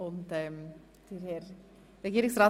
Herr Regierungsrat